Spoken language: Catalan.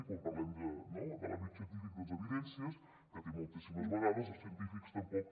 i quan parlem de l’àmbit científic doncs d’evidències que moltíssimes vegades els científics tampoc